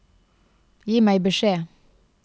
Gi meg beskjed